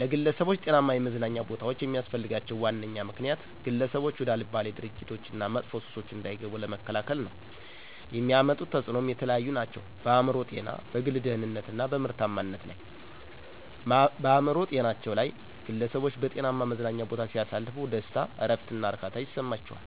ለግለሠቦች ጤናማ የመዝናኛ ቦታዎች የሚስፈልጋቸው ዋነኛ ምክንያት፦ ግለሠቦች ወደ አልባሌ ድርጊቶች እና መጥፎ ሱሶች እንዳይገቡ ለመከላከል ነው። የሚያመጡት ተፅኖም የተለያዩ ናቸው፦ በአእምሮ ጤና፣ በግል ደህንነት እና በምርታማነት ላይ። -በአእምሮ ጤናቸው ላይ፦ ግለሠቦች በጤናማ መዝናኛ ቦታ ሲያሳልፉ ደስታ፣ እረፍት እና እርካታ ይሠማቸዋል።